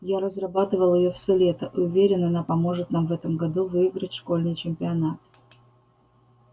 я разрабатывал её все лето и уверен она поможет нам в этом году выиграть школьный чемпионат